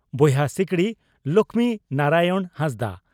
ᱵᱚᱭᱦᱟ ᱥᱤᱠᱲᱤ (ᱞᱚᱠᱷᱢᱤ ᱱᱟᱨᱟᱭᱚᱬ ᱦᱟᱸᱥᱫᱟ)